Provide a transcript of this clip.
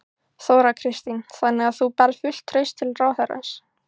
Þóra Kristín: Þannig að þú berð fullt traust til ráðherrans?